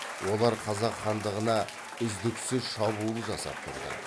олар қазақ хандығына үздіксіз шабуыл жасап тұрды